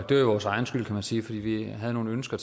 det var jo vores egen skyld kan man sige for vi havde nogle ønsker